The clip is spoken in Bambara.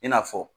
I n'a fɔ